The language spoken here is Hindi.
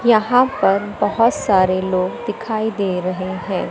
यहां पर बहोत सारे लोग दिखाई दे रहे हैं।